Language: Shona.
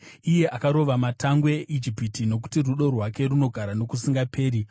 iye akarova matangwe eIjipiti, Nokuti rudo rwake runogara nokusingaperi.